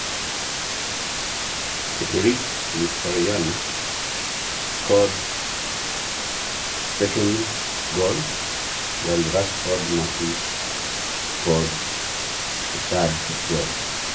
Henrikh Mkhitaryan etangoro obao liare ore Marcus Rashford etangoro obao lekuni.